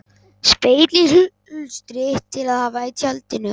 Spegill í hulstri til að hafa í tjaldinu.